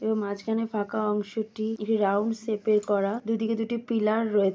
এবং মাঝখানে ফাঁকা অংশটি একটি রাউন্ড শেপে -র করা দুই দিকে দুটি পিলার রয়ে--